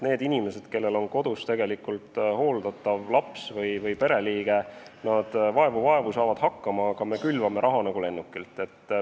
Inimesed, kellel on kodus hooldatav laps või pereliige, saavad vaevu-vaevu hakkama, aga meie külvame raha nagu lennukilt.